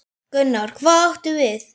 Gunnar: Hvað áttu við?